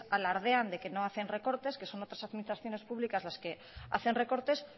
alardean de que no hacen recortes que son otras administraciones públicas las que hacen recortes